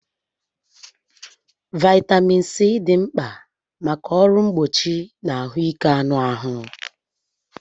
Vaitamin C dị mkpa maka ọrụ mgbochi na ahụike anụ ahụ